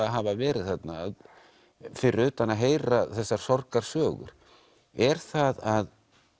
hafa verið þarna fyrir utan að heyra þessar sorgarsögur er það að